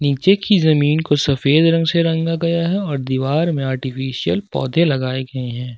नीचे की जमीन को सफेद रंग से रंगा गया है और दीवार में आर्टिफिशियल पौधे लगाए गए हैं।